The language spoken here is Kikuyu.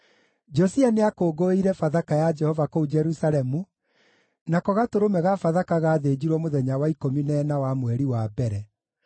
Josia nĩakũngũĩire Bathaka ya Jehova kũu Jerusalemu, nako gatũrũme ka Bathaka gaathĩnjirwo mũthenya wa ikũmi na ĩna wa mweri wa mbere.